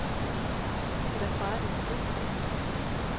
Hvordan fejrer du din fødselsdag?